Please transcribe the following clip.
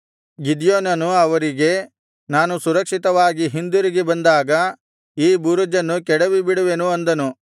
ಗಿದ್ಯೋನನು ಅವರಿಗೆ ನಾನು ಸುರಕ್ಷಿತವಾಗಿ ಹಿಂದಿರುಗಿ ಬಂದಾಗ ಈ ಬುರುಜನ್ನು ಕೆಡವಿಬಿಡುವೆನು ಅಂದನು